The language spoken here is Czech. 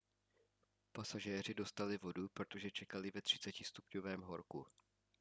pasažéři dostali vodu protože čekali ve 30° horku